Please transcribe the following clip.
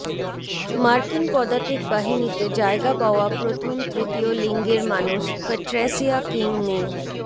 মার্কিন পদাতিক বাহিনীতে জায়গা পাওয়া প্রথম তৃতীয় লিঙ্গের মানুষ প্যাট্রেসিয়া কিং মি